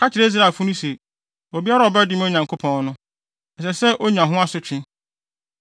Ka kyerɛ Israelfo no se, ‘Obiara a ɔbɛdome Onyankopɔn no, ɛsɛ sɛ onya ho asotwe: